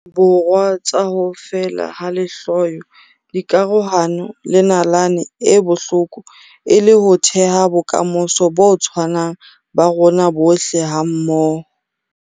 Borwa tsa ho feela ha lehloyo, dikarohano le nalane e bohloko e le ho theha bokamoso bo tshwanang ba rona bohle hammoho.